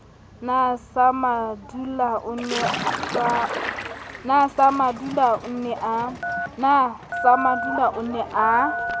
na samadula o ne a